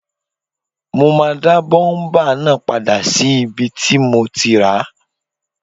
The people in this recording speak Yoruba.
Mo máa dá bọ́múpà náà padà sí ibi tí mo ti ràá